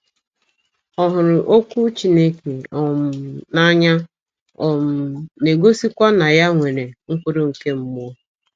Ọ hụrụ Okwu Chineke um n’anya um, na - egosikwa na ya nwere “ mkpụrụ nke mmụọ. ”